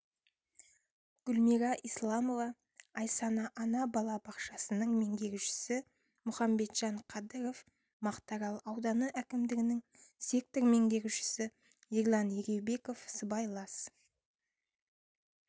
гүлмира исламова айсана-ана бала бақшасының меңгерушісі мұхамбетжан қадыров мақтарал ауданы әкімдігінің сектор меңгерушісі ерлан егеубеков сыбайлас